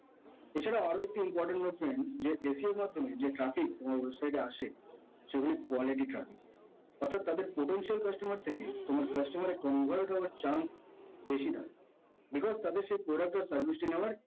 এছাড়াও আরো একটি important হচ্ছে যে SEO এর মাধ্যমে যে traffic তোমার website এ আসে সেগুলো quality traffic অর্থাৎ তাদের potential customer থেকে তোমার customer এ convert হওয়ার chance বেশি তার because তাদের সে product বা service টি নেওয়ার